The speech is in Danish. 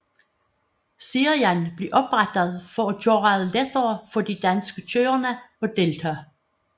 Serien blev oprettet for at gøre det lettere for de danske kørere at deltage